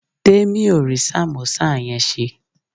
Temi ò rí sàmósà yẹn ṣe